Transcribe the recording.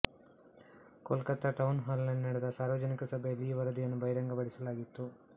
Kolkata town hall ನಲ್ಲಿ ನಡೆದ ಸಾರ್ವಜನಿಕ ಸಭೆಯಲ್ಲಿ ಈ ವರದಿಯನ್ನು ಬಹಿರಂಗಪಡಿಸಲಾಯಿತು